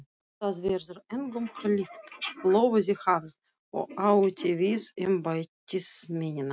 Það verður engum hlíft! lofaði hann og átti við embættismennina.